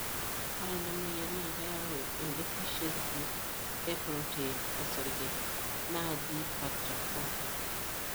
ore ena moyian na keyau edeficiency e protein osarge naaji factor V